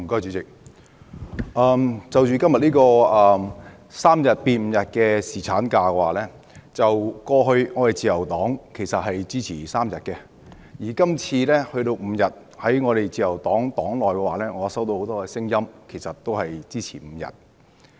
主席，就今天這項將侍產假由3天增至5天的修正案，過去自由黨支持3天，而今次增至5天，我在自由黨內聽到很多聲音都支持增至5天。